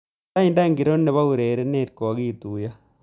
Lainda ngiro nebo urerenet kogigituiyo